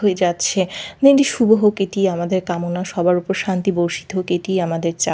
হয়ে যাচ্ছে দিনটি শুভ হোক এটি আমাদের কামনা সবার উপর শান্তি বর্ষিত হোক এটি আমাদের চা--